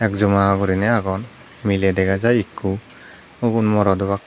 egjoma gurine agon mile dega jai ikko ubun morot obak.